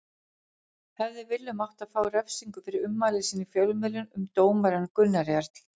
Hefði Willum átt að fá refsingu fyrir ummæli sín í fjölmiðlum um dómarann Gunnar Jarl?